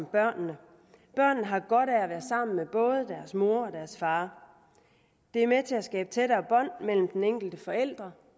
børnene børnene har godt af at være sammen med både deres mor og deres far det er med til at skabe tættere bånd mellem den enkelte forælder